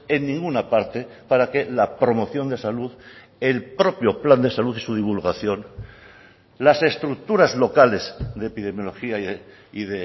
en ninguna parte para que la promoción de salud el propio plan de salud y su divulgación las estructuras locales de epidemiologia y